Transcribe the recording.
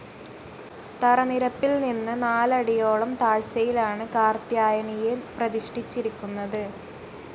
തറനിരപ്പിൽ നിന്ന് നാലടിയോളം താഴ്ചയിലാണ് കാർത്ത്യായനിയെ പ്രതിഷ്ഠിച്ചിരിക്കുന്നത്.